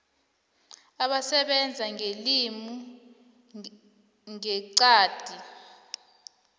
abasebenza ngelimi ngeqadi